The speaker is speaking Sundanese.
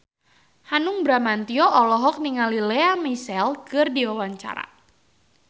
Hanung Bramantyo olohok ningali Lea Michele keur diwawancara